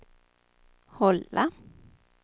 hålla